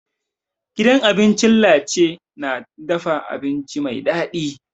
Gidan abincin Lace na dafa abinci mai dadi.